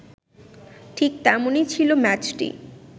ঠিক তেমনই ছিল ম্যাচটি